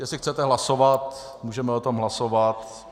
Jestli chcete hlasovat, můžeme o tom hlasovat.